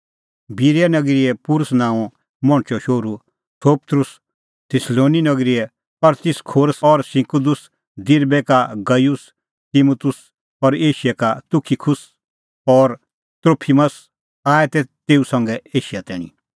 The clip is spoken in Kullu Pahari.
बिरीया नगरीए पुरुस नांओंए मणछो शोहरू सोपत्रुस थिस्सलुनी नगरीए अरिस्तर्खुस और सिकुन्दुस दिरबे का गयुस तिमुतुस और एशिया का तुखिकुस और त्रोफिमस आऐ तेऊ संघै एशिया तैणीं